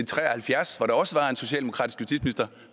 tre og halvfjerds hvor der også var en socialdemokratisk justitsminister